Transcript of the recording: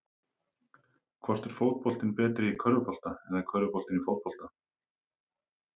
Hvort er fótboltinn betri í körfubolta eða körfuboltinn í fótbolta?